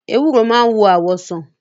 Ewúro máa ń wo àwọ̀ sàn.